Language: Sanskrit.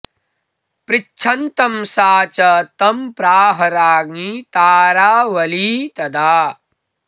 पृच्छन्तं सा च तं प्राह राज्ञी तारावली तदा